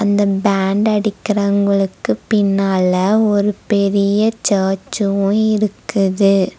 இந்த பேண்ட் அடிக்கிறவங்களுக்கு பின்னால ஒரு பெரிய சர்ச்சு இருக்குது.